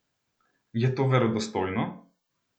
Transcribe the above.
Je to verodostojno?